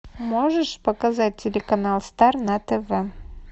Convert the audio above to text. можешь показать телеканал стар на тв